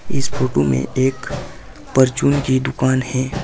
इस फोटो में एक परचून की दुकान है।